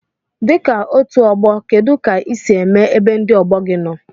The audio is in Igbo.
Dika otu ogbo kedu ka isi eme ebe ndi ogbogi nno?